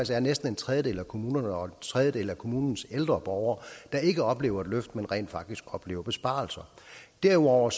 der er næsten en tredjedel af kommunerne og en tredjedel af kommunernes ældre borgere der ikke oplever et løft men rent faktisk oplever besparelser derudover